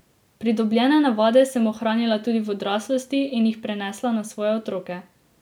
Pridobljene navade sem ohranila tudi v odraslosti in jih prenesla na svoje otroke.